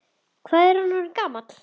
Hvað er hann orðinn gamall?